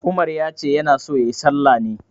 Umar ya ce ya na so ya yi sallah ne.